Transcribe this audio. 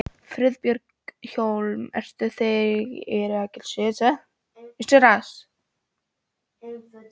Friðbjörn Hólm: Eru þeir ekki allir sigurvegarar?